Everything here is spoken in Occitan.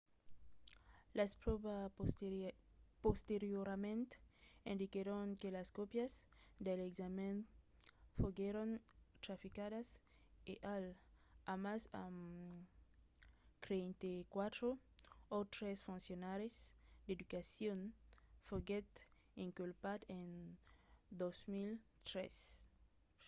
las pròvas posteriorament indiquèron que las còpias dels examèns foguèron traficadas e hall amassa amb 34 autres foncionaris d’educacion foguèt inculpat en 2013